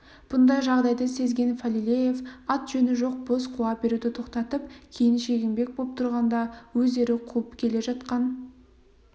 бұндай жағдайды сезген фалилеев ат-жөні жоқ бос қуа беруді тоқтатып кейін шегінбек боп тұрғанда өздері қуып келе жатқан